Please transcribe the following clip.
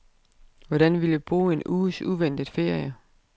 Hvordan ville du bruge en uges uventet ferie?